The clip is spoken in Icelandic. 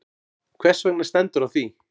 Hvers vegna stendur á því?